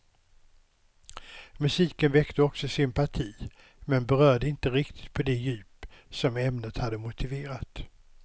Musiken väckte också sympati, men berörde inte riktigt på det djup som ämnet hade motiverat.